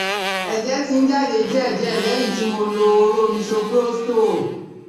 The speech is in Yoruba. Ẹ̀jẹ̀ ti ń jáde díẹ̀ díẹ̀ lẹ́yìn tí mo lo hóró Misoprostol